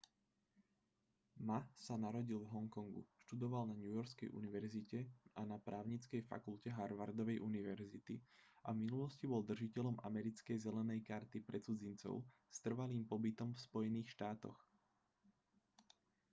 ma sa narodil v hongkongu študoval na newyorskej univerzite a na právnickej fakulte harvardovej univerzity a v minulosti bol držiteľom americkej zelenej karty pre cudzincov s trvalým pobytom v spojených štátoch